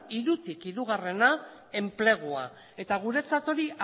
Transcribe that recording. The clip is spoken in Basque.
hirutik hirugarrena enplegua eta guretzat hori